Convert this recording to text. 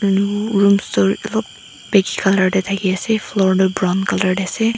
beige colour tae thakiase floor tu brown colour tae ase.